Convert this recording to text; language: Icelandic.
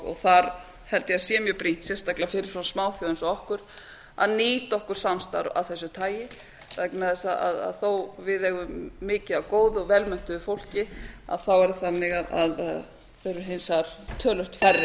og þar held ég að sé mjög brýnt sérstaklega fyrir smáþjóð eins og okkur að nýta okkur samstarf af þessu tagi vegna þess að þó við eigum mikið af góðu og vel menntuðu fólki þá er það þannig að við erum hins vegar töluvert færri en á